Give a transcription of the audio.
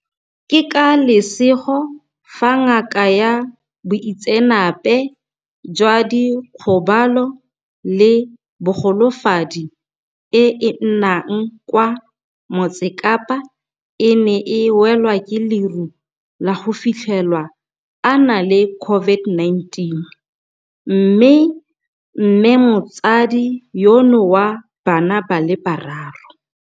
Ke ka lesego fa ngaka ya boitseanape jwa dikgobalo le bogolofadi e e nnang kwa Motsekapa e ne e welwa ke leru la go fitlhelwa a na le COVID-19, mme mmemotsadi yono wa bana ba le bararo.